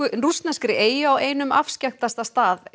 rússneskri eyju á einum afskekktasta stað